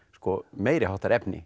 meiriháttar efni